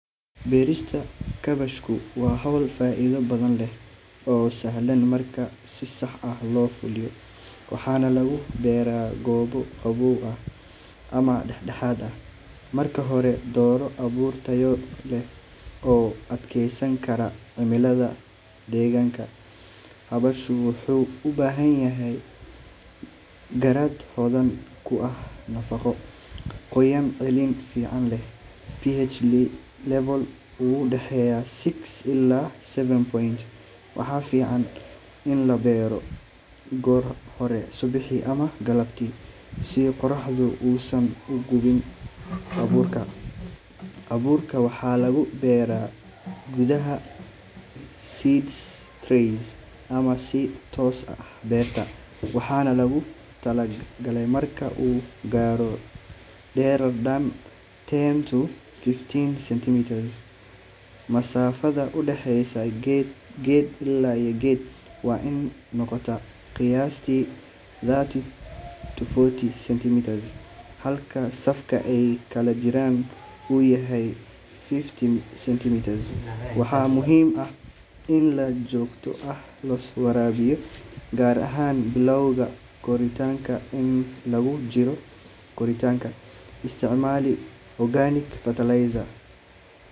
Beerista kaabashku waa hawl faa’iido badan leh oo sahlan marka si sax ah loo fuliyo, waxaana lagu beeraa goobo qabow ama dhexdhexaad ah. Marka hore, dooro abuur tayo leh oo u adkeysan kara cimilada deegaankaaga. Kaabashku wuxuu u baahan yahay carrada hodan ku ah nafaqo, qoyaan celin fiican leh, iyo pH level u dhexeeya six ilaa seven point five. Waxaa fiican in la beero goor hore subaxii ama galabtii si qorraxdu uusan u gubin abuurka. Abuurka waxaa lagu beeraa gudaha seed trays ama si toos ah beerta, waxaana lagu tallaalaa marka uu gaaro dherer dhan ten to fifteen centimeters. Masaafada u dhaxaysa geed ilaa geed waa in ay noqotaa qiyaastii thirty to forty centimeters, halka safka ay kala jiraan uu yahay fifty centimeters. Waxaa muhiim ah in si joogto ah loo waraabiyo, gaar ahaan bilowga koritaanka. Inta lagu jiro koritaanka, isticmaali organic fertilizer.